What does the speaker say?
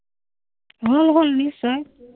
অ, হ’ল নিশ্চয়।